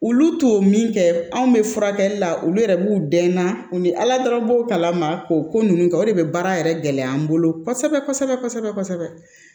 Olu to min kɛ anw bɛ furakɛli la olu yɛrɛ b'u dɛn na u ni ala dɔrɔn b'o kala ma k'o ko ninnu kɛ o de bɛ baara yɛrɛ gɛlɛya an bolo kosɛbɛ kosɛbɛ kosɛbɛ